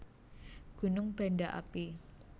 Gunung Banda Api